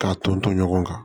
K'a ton ton ɲɔgɔn kan